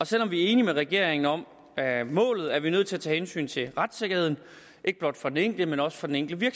selv om vi er enige med regeringen om målet er vi nødt til at tage hensyn til retssikkerheden ikke blot for den enkelte men også for den enkelte